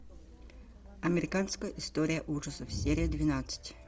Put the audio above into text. американская история ужасов серия двенадцать